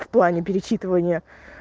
в плане перечитывания